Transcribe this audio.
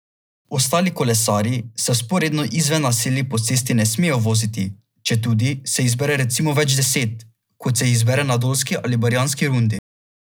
Ostali kolesarji se vzporedno izven naselij po cesti ne smejo voziti, četudi se jih zbere recimo več deset, kot se jih zbere na dolski ali barjanski rundi.